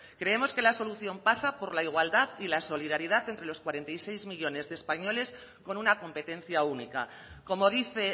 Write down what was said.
creemos que la solución pasa por la igualdad y la solidaridad entre los cuarenta y seis millónes de españoles con una competencia única como dice